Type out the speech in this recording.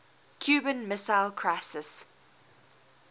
cuban missile crisis